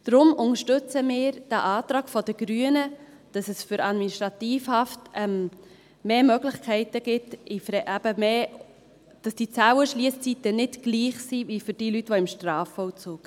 Deshalb unterstützen wir den Antrag der Grünen, dass es bei der Administrativhaft mehr Möglichkeiten gibt, dass eben die Zellenschliesszeiten nicht gleich sind wie für die Leute im Strafvollzug.